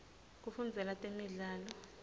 kufundzela temidlalo